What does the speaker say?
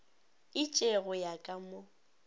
itše go ya ka mo